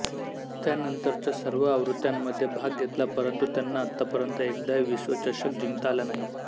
त्यानंतरच्या सर्व आवृत्त्यांमध्ये भाग घेतला परंतु त्यांना आतापर्यंत एकदाही विश्वचषक जिंकता आला नाही